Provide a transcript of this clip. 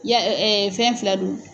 fɛn fila don.